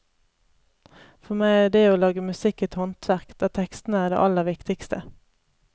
For meg er det å lage musikk et håndverk, der tekstene er det aller viktigste.